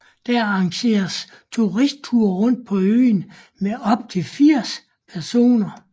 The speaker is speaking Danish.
Der arrangeres turistture rundt på øen med op til 80 personer